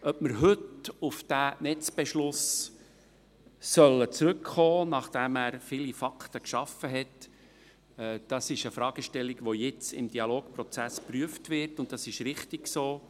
Ob wir heute auf den Netzbeschluss zurückkommen sollen, nachdem er viele Fakten geschaffen hat, das ist eine Fragestellung, die jetzt im Dialogprozess geprüft wird, und das ist richtig so.